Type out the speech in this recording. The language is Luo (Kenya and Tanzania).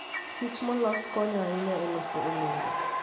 kich molos konyo ahinya e loso olembe.